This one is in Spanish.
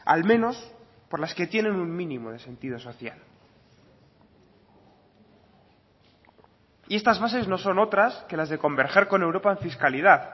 al menos por las que tienen un mínimo de sentido social y estas bases no son otras que las de converger con europa en fiscalidad